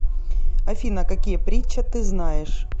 афина какие притча ты знаешь